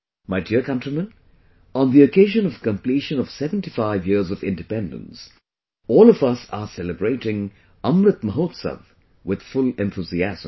My dear countrymen, on the occasion of completion of 75 years of independence, all of us are celebrating 'Amrit Mahotsav' with full enthusiasm